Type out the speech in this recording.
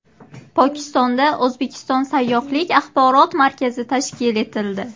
Pokistonda O‘zbekiston sayyohlik axborot markazi tashkil etildi.